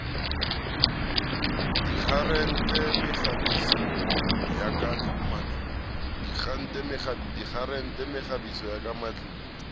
dikgaretene mekgabiso ya ka matlung